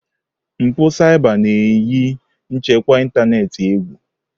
Mpụ saiba na-eyi nchekwa ịntanetị egwu.